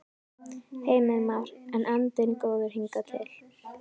Heimir Már: En andinn góður hingað til?